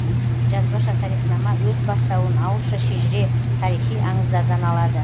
жазбаша тарихнама өз бастауын ауызша шежіре тарихи аңыздардан алады